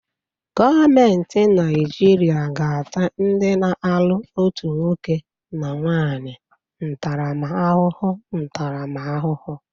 Gọọmenti Naijiria ga-ata ndị na-alụ otu nwoke na nwanyị ntaramahụhụ ntaramahụhụ